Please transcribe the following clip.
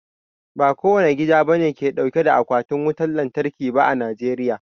Ba kowane gida bane ke dauke da Akwatin wutar lantarki ba a Najeriya